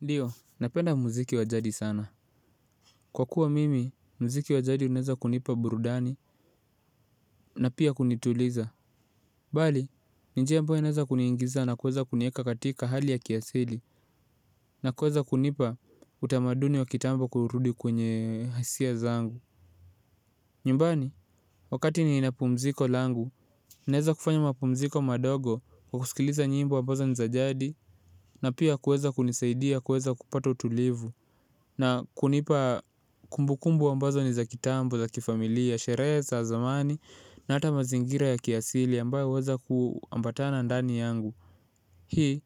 Ndiyo, napenda muziki wa jadi sana. Kwa kuwa mimi muziki wa jadi unaweza kunipa burudani na pia kunituliza. Bali, ni njia ambayo inaeza kuniingiza na kuweza kunieka katika hali ya kiasili, na kuweza kunipa utamaduni wa kitambo kurudi kwenye hisia zangu. Nyumbani, wakati nina pumziko langu, ninaeza kufanya mapumziko madogo kwa kusikiliza nyimbo ambazo ni za jadi, na pia kuweza kunisaidia kuweza kupata utulivu. Na kunipa kumbukumbu ambazo ni za kitambo, za kifamilia, sherehe za za zamani na hata mazingira ya kiasili ambayo huweza kuambatana ndani yangu. Hii,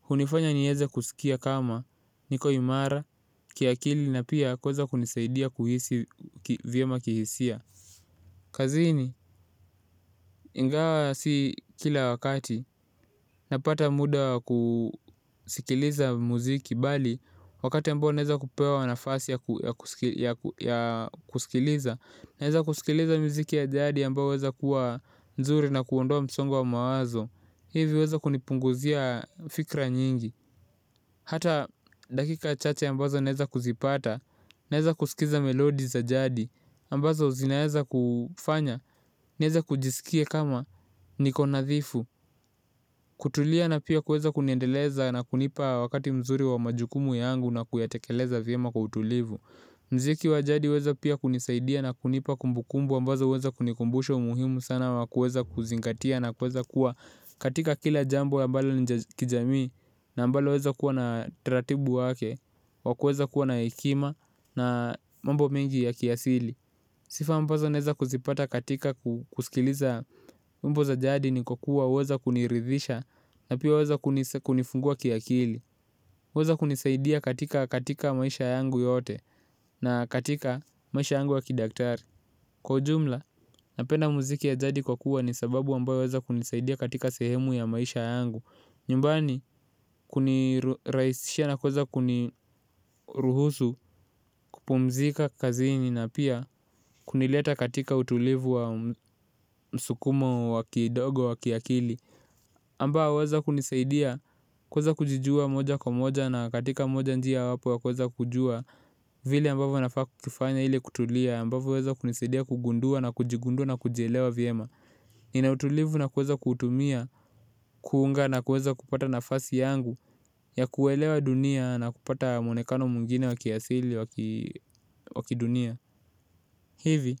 hunifanya nieze kusikia kama, niko imara, kiakili na pia kuweza kunisaidia kuhisi vyema kihisia kazini ingawa si kila wakati napata muda wa kusikiliza muziki bali wakati ambao naeza kupewa nafasi ya ya kusikiliza, naeza kusikiliza miziki ya jadi ambao huweza kuwa mzuri na kuondoa msongo wa mawazo. Hivi huweza kunipunguzia fikra nyingi. Hata dakika chache ambazo naeza kuzipata, naeza kusikiza melodi za jadi, ambazo zinaeza kufanya, nieze kujisikie kama niko nadhifu. Kutulia na pia kuweza kuniendeleza na kunipa wakati mzuri wa majukumu yangu na kuyatekeleza vyema kwa utulivu muziki wa jadi huweza pia kunisaidia na kunipa kumbukumbu ambazo huweza kunikumbusha umuhimu sana wa kuweza kuzingatia na kuweza kuwa katika kila jambo ambalo ni la kijamii na ambalo linaweza kuwa na utaratibu wake. Wa kuweza kuwa na hekima na mambo mengi ya kiasili. Sifa ambazo naeza kuzipata katika kusikiliza wimbo za jadi ni kwa kuwa huweza kuniridhisha na pia huweza kunifungua kiakili huweza kunisaidia katika katika maisha yangu yote na katika maisha yangu ya kidaktari. Kwa ujumla, napenda muziki ya jadi kwa kuwa ni sababu ambayo huweza kunisaidia katika sehemu ya maisha yangu. Nyumbani kunirahisishia na kuweza kuniruhusu kupumzika kazini na pia kunileta katika utulivu wa msukumo wa kidogo wa kiakili ambao waweza kunisaidia kuweza kujijua moja kwa moja na katika moja njia wapo wa kuweza kujua vile ambavyo nafaa kufanya ili kutulia ambavo huweza kunisaidia kugundua na kujigundua na kujielewa vyema. Nina utulivu na kuweza kuutumia, kuunga na kuweza kupata nafasi yangu ya kuelewa dunia na kupata mwonekano mwngine wa kiasili wa kidunia. Hivi,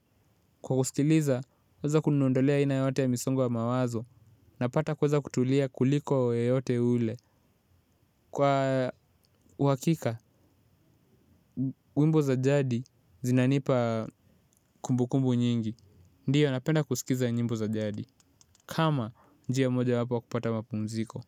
kwa kusikiliza, hueza kunindolea aina yoyote ya misongo ya mawazo, napata kuweza kutulia kuliko yeyote yule. Kwa uhakika, nyimbo za jadi zinanipa kumbu kumbu nyingi. Ndio, napenda kusikiza nyimbo za jadi, kama njia moja wapo ya kupata mapumziko.